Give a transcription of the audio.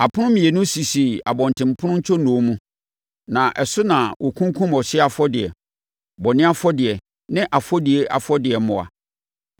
Apono mmienu sisi abɔntenpono ntwonoo mu, na ɛso na wɔkunkum ɔhyeɛ afɔdeɛ, bɔne afɔdeɛ ne afɔdie afɔdeɛ mmoa.